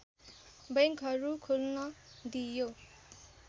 बैङ्कहरू खोल्न दिइयो